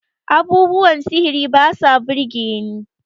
abubuwan sihiri ba sa birgeni